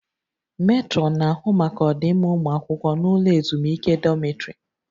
Metrọnụ na-ahụ maka ọdịmma ụmụ akwụkwọ n'ụlọ ezumike dọmịtrị